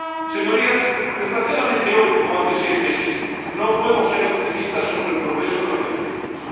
Señorías, desgraciadamente hoy, como hace seis meses, no puedo ser optimista sobre el progreso de las negociaciones.